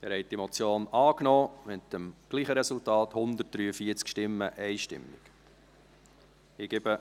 Sie haben diese Motion mit demselben Resultat angenommen, mit 143 Stimmen einstimmig.